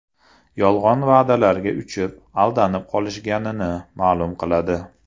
Yolg‘on va’dalarga uchib, aldanib qolishganini ma’lum qiladi.